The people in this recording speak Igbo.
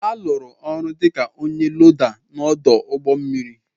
A lụrụ m ọrụ dịka ọnye loda n'odu ụgbọ mmiri